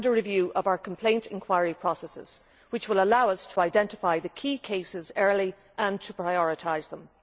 and a review of our complaint inquiry processes, which will allow us to identify the key cases early and to prioritise them.